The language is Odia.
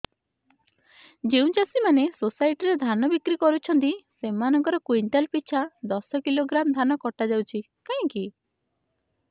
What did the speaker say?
ଯେଉଁ ଚାଷୀ ମାନେ ସୋସାଇଟି ରେ ଧାନ ବିକ୍ରି କରୁଛନ୍ତି ସେମାନଙ୍କର କୁଇଣ୍ଟାଲ ପିଛା ଦଶ କିଲୋଗ୍ରାମ ଧାନ କଟା ଯାଉଛି କାହିଁକି